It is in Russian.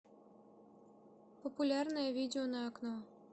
популярное видео на окно